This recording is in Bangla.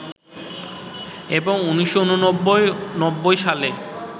এবং ১৯৮৯- ৯০ সালে